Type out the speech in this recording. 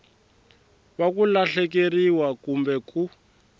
wa ku lahlekeriwa kumbe ku